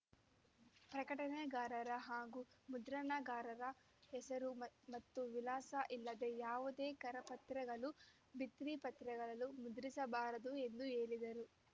ಪ್ರಕಟಣೆಗಾರರ ಹಾಗೂ ಮುದ್ರಣಾಕಾರರ ಹೆಸರು ಮತ್ತು ವಿಳಾಸ ಇಲ್ಲದೆ ಯಾವುದೇ ಕರಪತ್ರಗಳು ಭಿತ್ರಿಪತ್ರಗಳನ್ನು ಮುದ್ರಿಸಬಾರದು ಎಂದು ಹೇಳಿದರು